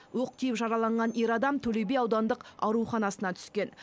оқ тиіп жараланған ер адам төлеби аудандық ауруханасына түскен